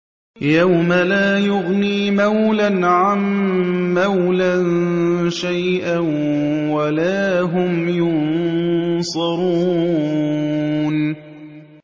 يَوْمَ لَا يُغْنِي مَوْلًى عَن مَّوْلًى شَيْئًا وَلَا هُمْ يُنصَرُونَ